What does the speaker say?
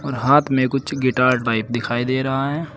हाथ में कुछ गिटार टाइप दिखाई दे रहा है।